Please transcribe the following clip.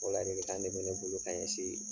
O ladilikan de bɛ ne bolo k'a ɲɛsiin